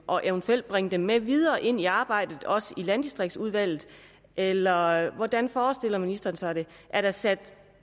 og eventuelt bringe dem med videre ind i arbejdet også i landdistriktsudvalget eller hvordan forestiller ministeren sig det er der sat